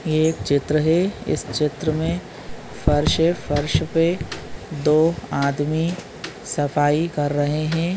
ये एक चित्र है इस चित्र मे फर्श है फर्श पे दो आदमी सफाई कर रहे हैं।